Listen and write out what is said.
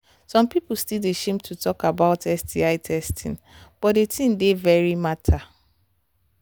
some people still they shame to talk about sti testing but the thing dey very matter